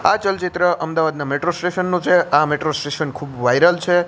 આ ચલચિત્ર અમદાવાદના મેટ્રો સ્ટેશન નુ છે આ મેટ્રો સ્ટેશન ખૂબ વાયરલ છે.